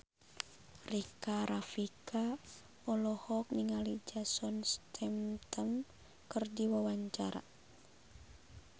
Rika Rafika olohok ningali Jason Statham keur diwawancara